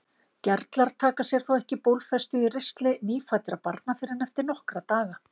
Gerlar taka sér þó ekki bólfestu í ristli nýfæddra barna fyrr en eftir nokkra daga.